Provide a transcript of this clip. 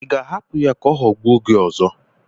Ị ga-ahapụ ya ka ọ ghọgbuo gị ọzọ?